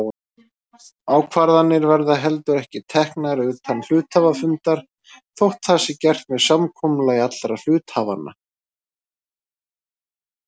Ákvarðanir verða heldur ekki teknar utan hluthafafundar þótt það sé gert með samkomulagi allra hluthafanna.